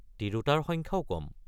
তিৰোতাৰ সংখ্যাও কম।